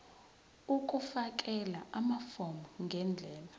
ukufakela amafomu ngendlela